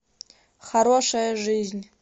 хорошая жизнь